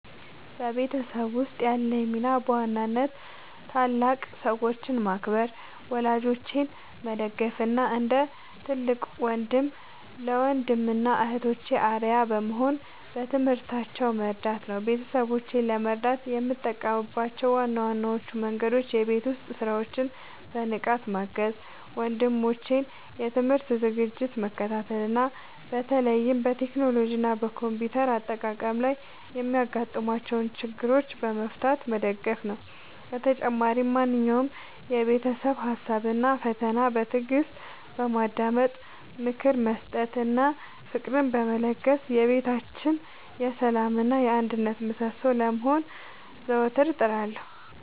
በቤተሰቤ ውስጥ ያለኝ ሚና በዋናነት ታላላቅ ሰዎችን ማክበር፣ ወላጆቼን መደገፍ እና እንደ ትልቅ ወንድም ለወንድም እና እህቶቼ አርአያ በመሆን በትምህርታቸው መርዳት ነው። ቤተሰቦቼን ለመርዳት የምጠቀምባቸው ዋነኞቹ መንገዶች የቤት ውስጥ ሥራዎችን በንቃት ማገዝ፣ የወንድሞቼን የትምህርት ዝግጅት መከታተል እና በተለይም በቴክኖሎጂ እና በኮምፒውተር አጠቃቀም ላይ የሚያጋጥሟቸውን ችግሮች በመፍታት መደገፍ ነው። በተጨማሪም ማንኛውንም የቤተሰብ ሀሳብ እና ፈተና በትዕግስት በማዳመጥ፣ ምክር በመስጠት እና ፍቅርን በመለገስ የቤታችን የሰላም እና የአንድነት ምሰሶ ለመሆን ዘወትር እጥራለሁ።